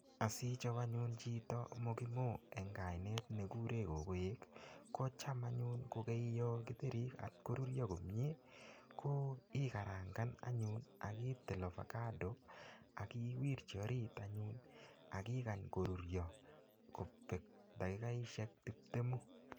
asichob anyun chito mokimo eng kainet ne kurei kokoek ko ichek bandek ak ikarangan komyiei ak iwirji orit anyun ak ikeny koruryo kobek dakikaishiek tibtemu